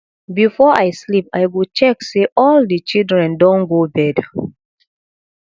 before i sleep i go check say all the children don go bed